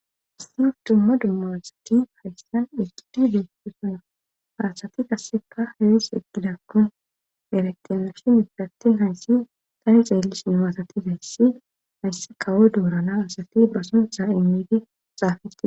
issi uf dumma dummazadi hayssan eqqidu deestesona haahthati kasseka hewis eggidakkun erektenashi middatin hayssi tani xeellis nuwasatizayssi hayssi kawo duurana asati brosontha imidi xaafae